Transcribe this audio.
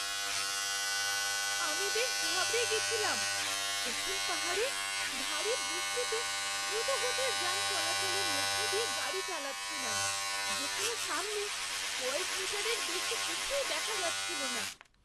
আমি বেশ ঘাবড়ে গেছিলাম যখন পাহাড়ে ভারী বৃষ্টিতে দ্রুতগতির যান চলাচলের মধ্যে দিয়ে গাড়ি চালাচ্ছিলাম যেখানে সামনে কয়েক মিটারের বেশি কিছুই দেখা যাচ্ছিল না!